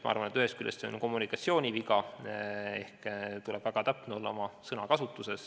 Ma arvan, et ühest küljest on see kommunikatsiooniviga ehk oma sõnakasutuses tuleb olla väga täpne.